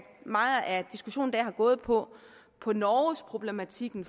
meget af diskussionen i dag har gået på på norgesproblematikken